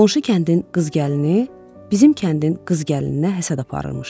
Qonşu kəndin qız gəlini bizim kəndin qız gəlininə həsəd aparırmış.